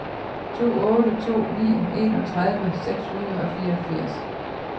to otte to ni enogtredive seks hundrede og fireogfirs